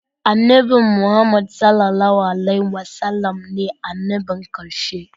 Annabi Muhammad (SAW) ne annabin karshe